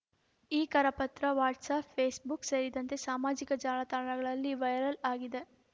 ಈ ಕರಪತ್ರ WhatsApp Facebook ಸೇರಿದಂತೆ ಸಾಮಾಜಿಕ ಜಾಲತಾಣಗಳಲ್ಲಿ ವೈರಲ್‌ ಆಗಿದೆ